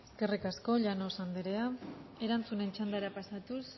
eskerrik asko llanos andrea erantzuten txandara pasatuz